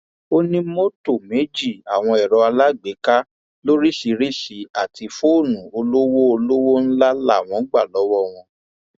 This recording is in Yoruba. ó ní mọtò méjì àwọn ẹrọ alágbèéká lóríṣìíríṣìí àti fóònù olówó olówó ńlá làwọn gbà lọwọ wọn